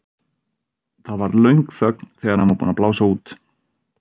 Það varð löng þögn þegar hann var búinn að blása út.